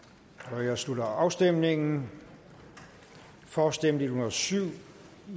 nu jeg slutter afstemningen for stemte en hundrede og syv